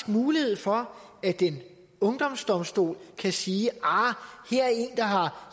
mulighed for at en ungdomsdomstol kan sige arh